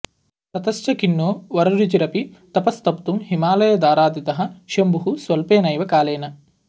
ततश्च खिन्नो वररुचिरपि तपस्तप्तुं हिमाल दाराधितः शम्भुः स्वल्पेनैव कालेन